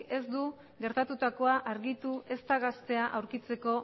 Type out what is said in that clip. ez du gertatutakoa argitu ezta gaztea aurkitzeko